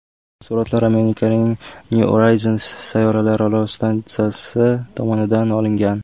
Suratlar Amerikaning New Horizons sayyoralararo stansiyasi tomonidan olingan.